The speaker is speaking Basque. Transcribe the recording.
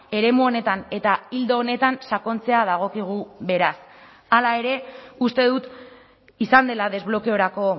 eremu honetan eta ildo honetan sakontzea dagokigu beraz hala ere uste dut izan dela desblokeorako